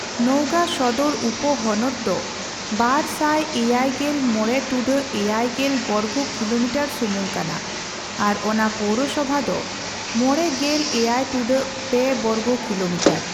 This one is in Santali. ᱱᱚᱣᱜᱟ ᱥᱚᱫᱚᱨ ᱩᱯᱚᱦᱚᱱᱚᱛ ᱫᱚ ᱒᱗᱕.᱗᱐ ᱵᱚᱨᱜᱚ ᱠᱤᱞᱚᱢᱤᱴᱟᱹᱨ ᱥᱩᱢᱩᱝ ᱠᱟᱱᱟ᱾ ᱟᱨ ᱚᱱᱟ ᱯᱳᱣᱨᱚᱥᱚᱵᱷᱟ ᱫᱚ ᱕᱗.᱐᱓ ᱵᱚᱨᱜᱚ ᱠᱤᱞᱚᱢᱤᱴᱟᱹᱨ᱾